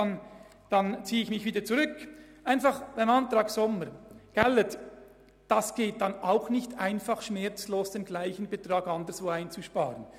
Es wird nicht einfach sein, denselben Beitrag schmerzlos anderswo einzusparen.